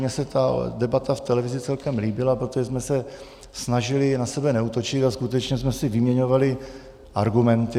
Mně se ta debata v televizi celkem líbila, protože jsme se snažili na sebe neútočit a skutečně jsme si vyměňovali argumenty.